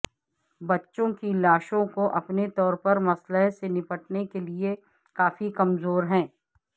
بچوں کی لاشوں کو اپنے طور پر مسئلہ سے نمٹنے کے لئے کافی کمزور ہیں